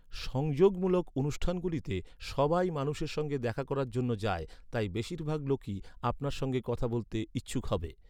সংযোগমূলক অনুষ্ঠানগুলিতে সবাই মানুষের সঙ্গে দেখা করার জন্য যায়, তাই বেশিরভাগ লোকই আপনার সঙ্গে কথা বলতে ইচ্ছুক হবে।